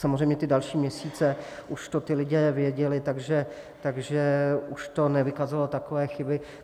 Samozřejmě ty další měsíce už to ti lidé věděli, takže už to nevykazovalo takové chyby.